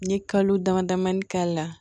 N ye kalo dama damani k'a la